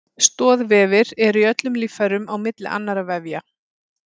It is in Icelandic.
Stoðvefir eru í öllum líffærum á milli annarra vefja.